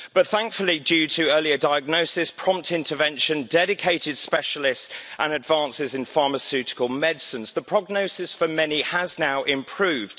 However, thankfully due to earlier diagnosis, prompt intervention, dedicated specialists and advances in pharmaceutical medicines, the prognosis for many has now improved.